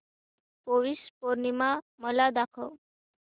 पौष पौर्णिमा मला दाखव